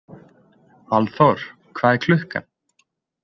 Valþór, hvað er klukkan?